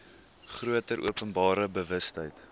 groter openbare bewustheid